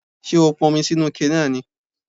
Ṣé o pọn omi sínu ike náà ni?